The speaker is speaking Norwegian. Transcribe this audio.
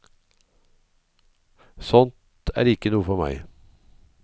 Sånt er ikke noe for meg.